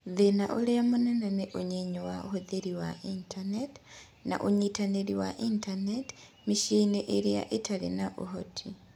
Thĩna ũrĩa mũnene nĩ ũnyinyi wa ũhũthĩri wa Intaneti na ũnyitanĩri wa Intaneti mĩciĩ-inĩ ĩrĩa ĩtarĩ na ũhoti.